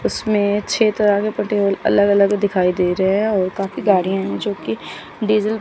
उसमें छह तरह के पे टेबल अलग अलग दिखाई दे रहे हैं और काफी गाड़ियां है जो कि डीजल --